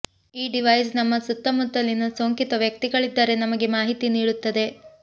ಈ ಡಿವೈಸ್ ನಮ್ಮ ಸುತ್ತಮುತ್ತಲಿನ ಸೋಂಕಿತ ವ್ಯಕ್ತಿಗಳಿದ್ದರೆ ನಮಗೆ ಮಾಹಿತಿ ನೀಡುತ್ತದೆ